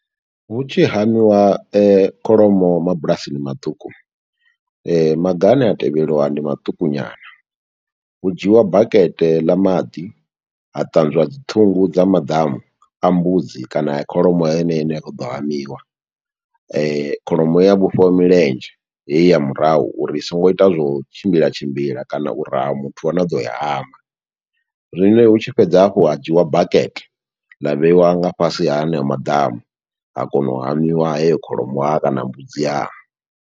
Hu tshi hamiwa kholomo, mabulasini maṱuku, maga ane a tevheliwa ndi maṱuku nyana. Hu dzhiiwa bakete ḽa maḓi, ha ṱanzwa dzi ṱhungu dza maḓamu a mbudzi kana a kholomo heneyo ine ya kho ḓo hamiwa. Kholomo ya vhofhiwa milenzhe, heyi ya murahu uri i songo ita zwo tshimbila tshimbila, kana u raha muthu ane a ḓo yi hama. Zwino hu tshi fhedza hafhu ha dzhiiwa bakete, ḽa vheiwa nga fhasi ha heneyo maḓamu, ha kona u hamiwa heyo kholomo wa kana mbudzi ha.